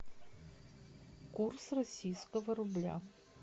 курс российского рубля